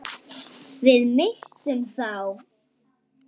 Við misstum þá.